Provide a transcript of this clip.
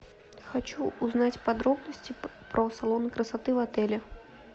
хочу узнать подробности про салоны красоты в отеле